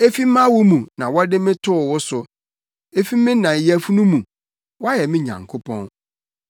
Efi mʼawo mu na wɔde me too wo so; efi me na yafunu mu, woayɛ me Nyankopɔn.